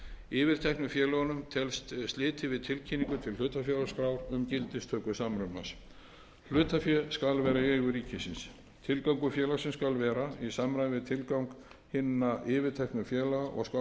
yfirteknu hlutafélögunum telst slitið til tilkynningu til hlutafélagaskrár um gildistöku samrunans hlutafé skal vera í eigu ríkisins tilgangur félagsins skal vera í samræmi við tilgang hinna yfirteknu félaga og skal honum lýst nánar í